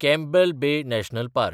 Campbell Bay National park